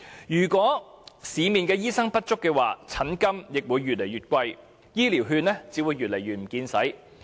如果醫生不足，診金也會越來越貴，醫療券只會越加捉襟見肘。